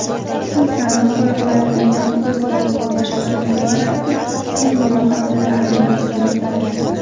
Xususan, qo‘riqlanadigan hududlarning boshqaruvi borasida o‘z mulohazalarimni bildirdim.